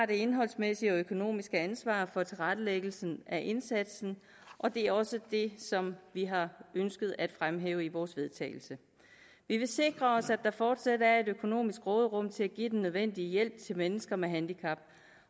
det indholdsmæssige og økonomiske ansvar for tilrettelæggelsen af indsatsen og det er også det som vi har ønsket at fremhæve i vores vedtagelse vi vil sikre os at der fortsat er et økonomisk råderum til at give den nødvendige hjælp til mennesker med handicap